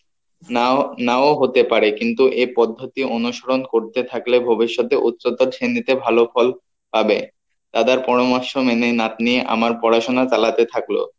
নাও নাও হতে পারে কিন্তু এই পদ্ধতি অনুসরণ করতে থাকলে ভবিষৎ এ উচ্চত শ্রেণীতে ভালো ফল পাবে পরামর্শ মেনে নাতনি আমার পড়াশোনা চালাতে থাকলো